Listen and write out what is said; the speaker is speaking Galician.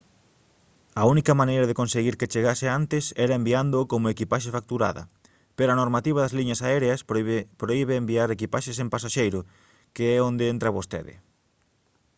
a única maneira de conseguir que chegase antes era enviándoo como equipaxe facturada pero a normativa das liñas aéreas prohibe enviar equipaxe sen pasaxeiro que é onde entra vostede